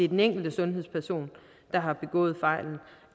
den enkelte sundhedsperson der har begået fejlen og